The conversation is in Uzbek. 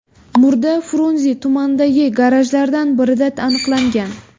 Murda Frunze tumanidagi garajlardan birida aniqlangan.